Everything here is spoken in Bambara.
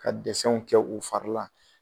Ka kɛ u fari la.